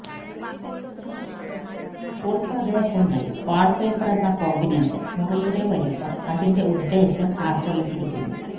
ഉൾപ്രദേശങ്ങളിൽ wallpaper എന്ന combination മുറിയുടെ വലിപ്പം അതിന്റെ ഉദ്ദേശ്യം ആശ്രയിച്ചിരിക്കുന്നു